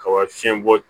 Kaba fiɲɛbɔ